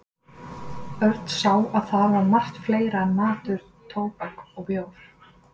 Örn sá að þar var margt fleira en matur, tóbak og bjór.